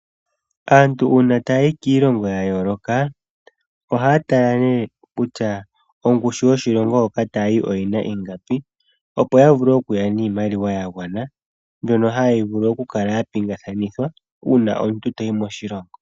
Aantu uuna tayayi kiilongo ya yooloka ohaya tala nee kutya ongushu yoshilongo hoka tayayi oyili ingapi, opo yavule okuya niimaliwa yagwana, mbyono hayi vulu okukala ya pingakanithwa uuna omuntu toyi moshilongo.